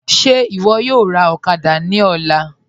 Ṣe iwọ yọ̀ọ́ rá òkàdà ní ọ̀là?